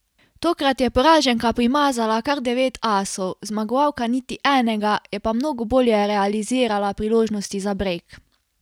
Tokrat je poraženka primazala kar devet asov, zmagovalka niti enega, je pa mnogo bolje realizirala priložnosti za brejk.